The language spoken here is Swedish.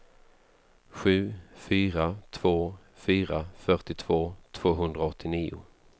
sju fyra två fyra fyrtiotvå tvåhundraåttionio